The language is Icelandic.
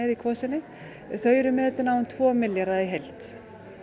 í Kvosinni þau eru metin á um tvo milljarða í heild